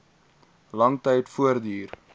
lang tyd voortduur